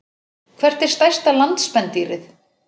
Hvert er stærsta landspendýrið?